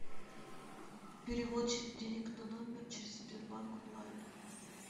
перевод денег на номер через сбербанк онлайн